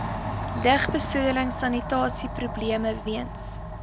lugbesoedeling sanitasieprobleme weens